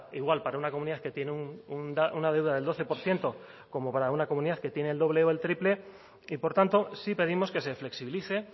igual para una comunidad que tiene una deuda del doce por ciento como para una comunidad que tiene el doble o el triple y por tanto sí pedimos que se flexibilice